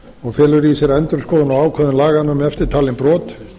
og felur í sér endurskoðun á ákvæðum laganna um eftirtalin brot